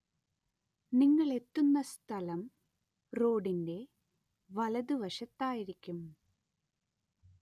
നിങ്ങളെത്തുന്ന സ്ഥലം റോഡിന്‍റെ വലതുവശത്തായിരിക്കും.